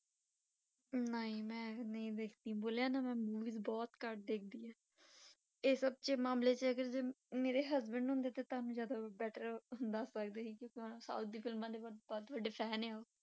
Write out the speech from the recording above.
ਨਹੀਂ ਮੈਂ ਨਹੀਂ ਦੇਖੀ, ਬੋਲਿਆ ਨਾ ਮੈਂ movie ਬਹੁਤ ਘੱਟ ਦੇਖਦੀ ਹਾਂ ਇਹ ਸਭ 'ਚ ਮਾਮਲੇ 'ਚ ਅਗਰ ਜੇ ਮੇਰੇ husband ਹੁੰਦੇ ਤਾਂ ਤੁਹਾਨੂੰ ਜ਼ਿਆਦਾ better ਦੱਸ ਸਕਦੇ ਸੀ ਕਿਉਂਕਿ ਉਹ south ਦੀ ਫਿਲਮਾਂ ਦੇ ਬਹੁਤ ਵੱਡੇ fan ਆ ਉਹ